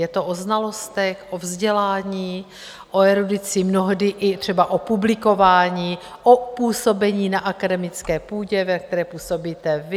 Je to o znalostech, o vzdělání, o erudici, mnohdy i třeba o publikování, o působení na akademické půdě, ve které působíte vy.